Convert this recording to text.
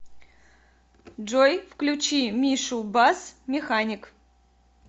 джой включи мишу басс механик